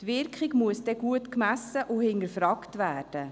Man wird die Wirkung gut messen und hinterfragen müssen.